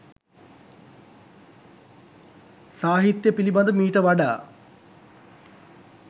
සාහිත්‍ය පිළිබඳ මීට වඩා